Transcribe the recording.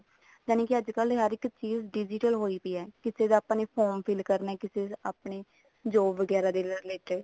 ਜਾਣੀ ਕੀ ਅੱਜਕਲ ਹਰ ਇੱਕ ਚੀਜ਼ digital ਹੋਈ ਪਈ ਹੈ ਕਿਸੇ ਦਾ ਆਪਾਂ ਨੇ form fill ਕਰਨਾ ਜਾਂ ਕਿਸੇ ਆਪਣੇ job ਵਗੈਰਾ ਦੇ related